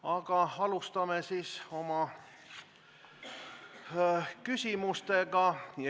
Aga alustame oma küsimusi.